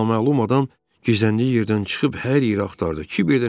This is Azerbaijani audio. Naməlum adam gizləndiyi yerdən çıxıb hər yeri axtardı.